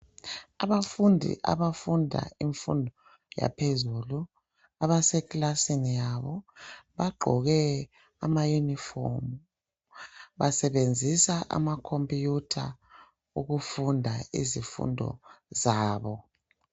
Abafundi abafunda imfundo yaphezulu abasekilani yabo bagqoke amaunifomu basebenzisa amakhompuyutha ukufunda izifundo zabo.